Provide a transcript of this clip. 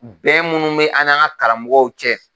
Bɛɛ minnu bɛ an n'an ka karamɔgɔw cɛ